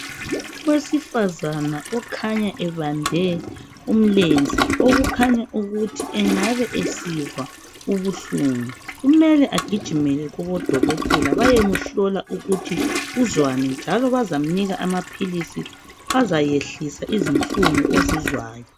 Owesifazana okhanya ebambe umlenze, okukhanya ukuthi engabe esizwa ubuhlungu. Kumele agijimele kubodokotela bayemuhlola ukuthi uzwani, njalo bazamnika amaphilisi azayehlisa izinhlungu ozizwayo.